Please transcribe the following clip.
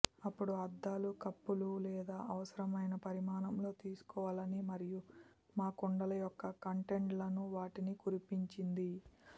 అప్పుడు అద్దాలు కప్పులు లేదా అవసరమైన పరిమాణంలో తీసుకోవాలని మరియు మా కుండల యొక్క కంటెంట్లను వాటిని కురిపించింది